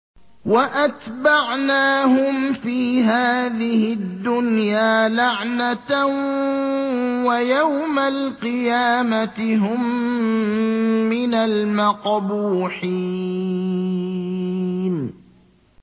وَأَتْبَعْنَاهُمْ فِي هَٰذِهِ الدُّنْيَا لَعْنَةً ۖ وَيَوْمَ الْقِيَامَةِ هُم مِّنَ الْمَقْبُوحِينَ